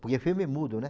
Porque filme é mudo, né?